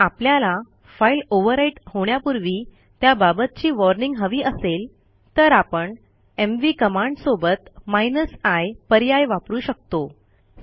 जर आपल्याला file overwrite होण्यापूर्वी त्याबाबतची वॉर्निंग हवी असेल तर आपण एमव्ही कमांडसोबत i पर्याय वापरू शकतो